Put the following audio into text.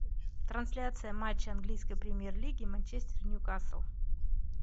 трансляция матча английской премьер лиги манчестер ньюкасл